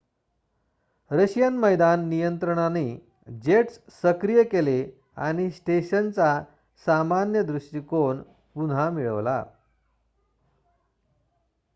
Russian मैदान नियंत्रणाने jets सक्रिय केले आणि स्टेशनचा सामान्य दृष्टीकोन पुन्हा मिळवला